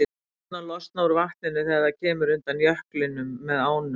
Gufurnar losna úr vatninu þegar það kemur undan jöklinum með ánum.